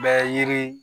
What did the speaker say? Bɛ yiri